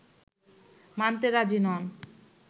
মানতে রাজি নন